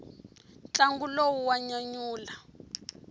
ntlangu lowu wa nyanyula